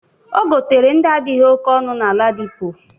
O gotere ndị adịghị oke ọnụ na Ladipo.